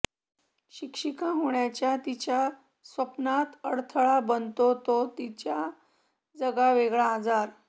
शिक्षिका होण्याच्या तिच्या स्वप्नात अडथळा बनतो तो तिचा जगावेगळा आजार